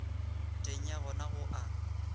teng ga yona go a